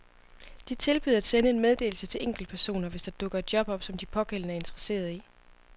De tilbyder at sende en meddelelse til enkeltpersoner, hvis der dukker et job op, som de pågældende er interesseret i.